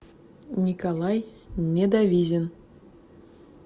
николай недовизин